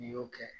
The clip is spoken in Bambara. N'i y'o kɛ